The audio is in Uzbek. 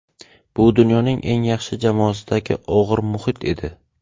Bu dunyoning eng yaxshi jamoasidagi og‘ir muhit edi.